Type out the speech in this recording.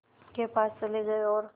के पास चले गए और